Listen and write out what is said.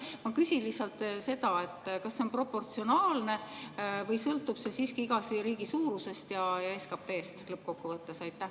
Ma küsin seda: kas see on proportsionaalne või sõltub see siiski iga riigi suurusest ja SKP‑st lõppkokkuvõttes?